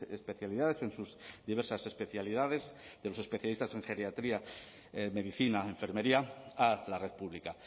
especialidades en sus diversas especialidades de los especialistas en geriatría en medicina enfermería a la red pública